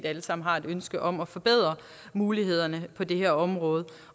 alle sammen har et ønske om at forbedre mulighederne på det her område